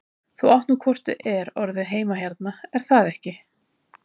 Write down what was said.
Þú átt nú hvort eð er orðið heima hérna, er það ekki?